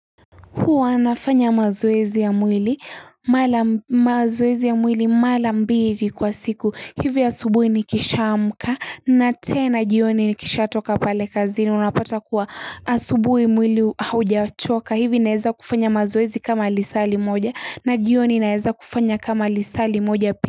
Huwa nafanya mazoezi ya mwili, mala mazoezi ya mwili mala mbili kwa siku. Hivi asubuhi nikishaamka na tena jioni nikishatoka pale kazini. Unapata kuwa asubuhi mwili haujachoka. Hivi naeza kufanya mazoezi kama lisali moja na jioni naeza kufanya kama lisali moja.